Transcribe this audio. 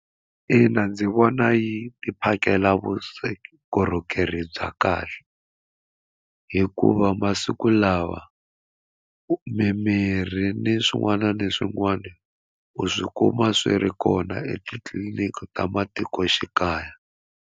Ina ndzi vona yi phakela vukorhokeri bya kahle hikuva masiku lawa mimirhi ni swin'wana na swin'wana u swi kuma swi ri kona etitliliniki ta matikoxikaya.